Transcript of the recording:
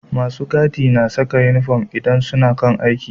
Masu gadi na Saka inufom idan suna kan aiki